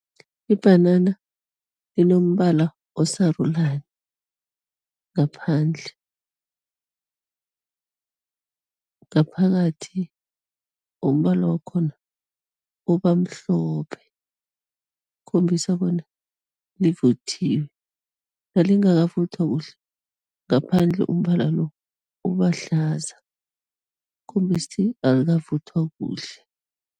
Ibhanana linombala osarulani ngaphandle, ngaphakathi umbala wakhona uba mhlophe, khombisa bona livuthiwe, nalingakavuthwa kuhle, ngaphandle umbala lo uba hlaza, khombisa ukuthi alikavuthwa kuhle.